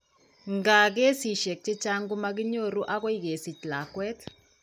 Nkaa, keesisiek chechang' ko makinyoru akoi kakesich lakwet.